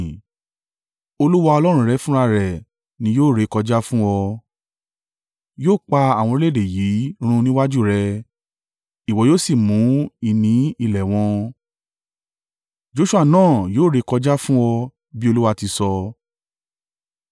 Olúwa Ọlọ́run rẹ fúnra rẹ̀ ni yóò rékọjá fún ọ. Yóò pa àwọn orílẹ̀-èdè yìí run níwájú rẹ, ìwọ yóò sì mú ìní ilẹ̀ wọn, Joṣua náà yóò rékọjá fún ọ, bí Olúwa ti sọ.